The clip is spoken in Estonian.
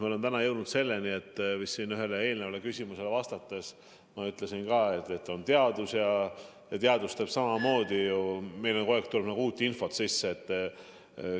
Me oleme täna jõudnud selleni, nagu ma siin ühele eelnevale küsimusele vastates vist ka ütlesin, et on teadus ja meil on kogu aeg tulnud uut infot sisse.